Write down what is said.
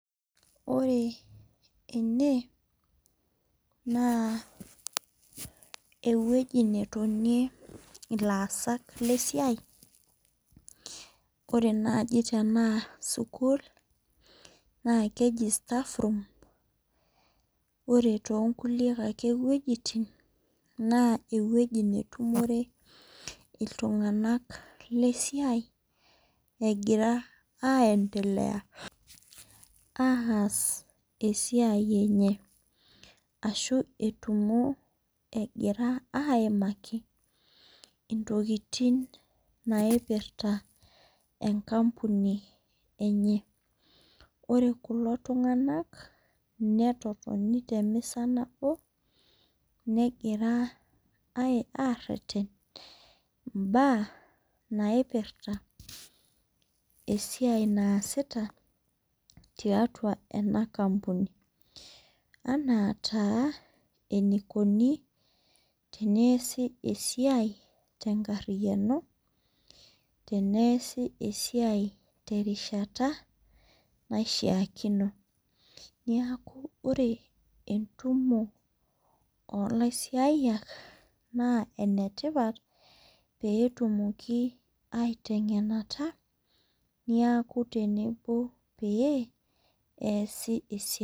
Ore ene na ewueji netonie laasak lesiai ore naniitanaa sukul na keji staffroom ore tonkulie wuejitin nakeji ewoi netumore ltunganak lesiai egira aendelea aas esiaia enye ashubetumo egira aimaki ntokitin naipirta enkampuni enye ore kulo tunganak netotoni temisa nabo negira areten mbaa naasita tiatua enaakampuni ana taa enikuni teneasi esiaia twnkariano teneasi esiai terishata naishaakino neaku ore entumo olaisiayiak na enetipat petumoki aitwngenata neaku tenebo peasj esiaia.